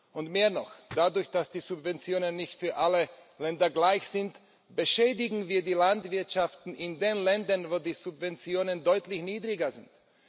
Und mehr noch Dadurch, dass die Subventionen nicht für alle Länder gleich sind, beschädigen wir die Landwirtschaften in den Ländern, wo die Subventionen deutlich niedriger sind.